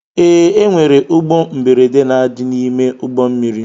Ee, enwere ụgbọ mberede na adị n'ime ụgbọ mmiri.